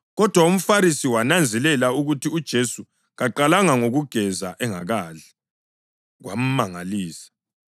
Kodwa umFarisi wananzelela ukuthi uJesu kaqalanga ngokugeza engakadli, kwamangalisa.